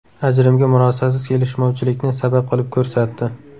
Ajrimga murosasiz kelishmovchilikni sabab qilib ko‘rsatdi.